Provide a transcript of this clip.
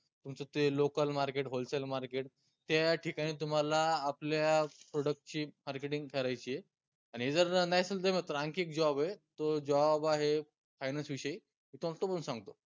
तुमचं ते local market wholesale market ह्या ठिकाणी तुम्हाला आपल्या product ची marketing करायची ए आनि जर नसलं जमत तर आनखी एक job ए तो job आहे finance विषयी मी तुम्हाला तो पन सांगतो